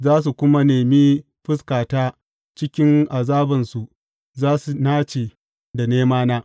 Za su kuma nemi fuskata; cikin azabansu za su nace da nemana.